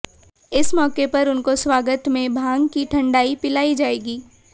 इस मौके पर उनको स्वागत में भांग की ठंडाई पिलाई जाएगी